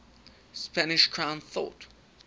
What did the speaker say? spanish crown thought